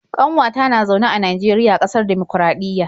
ƙanwata na zaune a Najeriya, ƙasar dimokuraɗiyya